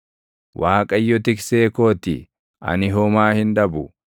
Waaqayyo tiksee koo ti; ani homaa hin dhabu.